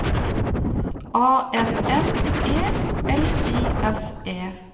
A N N E L I S E